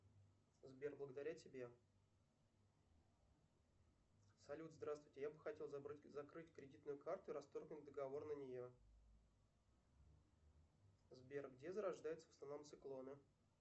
сбер благодаря тебе салют здравствуйте я бы хотел закрыть кредитную карту и расторгнуть договор на нее сбер где зарождаются в основном циклоны